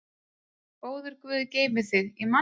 Góður Guð geymi þig.